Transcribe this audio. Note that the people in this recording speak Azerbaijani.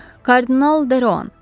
Kardinal Deroan!